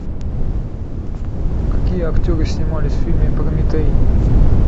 какие актеры снимались в фильме прометей